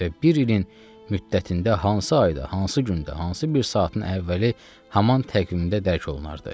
Və bir ilin müddətində hansı ayda, hansı gündə, hansı bir saatın əvvəli həman təqvimdə dərk olunardı.